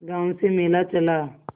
गांव से मेला चला